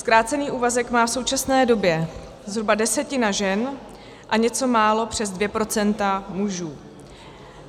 Zkrácený úvazek má v současné době zhruba desetina žen a něco málo přes 2 % mužů.